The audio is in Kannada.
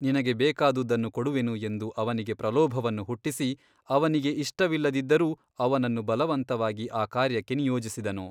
ನಿನಗೆ ಬೇಕಾದುದನ್ನು ಕೊಡುವೆನು ಎಂದು ಅವನಿಗೆ ಪ್ರಲೋಭವನ್ನು ಹುಟ್ಟಿಸಿ ಅವನಿಗೆ ಇಷ್ಟವಿಲ್ಲದಿದ್ದರೂ ಅವನನ್ನು ಬಲವಂತವಾಗಿ ಆ ಕಾರ್ಯಕ್ಕೆ ನಿಯೋಜಿಸಿದನು.